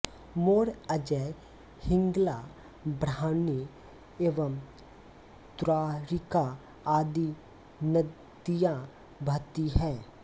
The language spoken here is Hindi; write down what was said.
मोर अजय हिंगला ब्राह्मणी एवं द्वारिका आदि नदियाँ बहती हैं